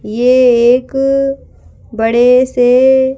ये एक बड़े से--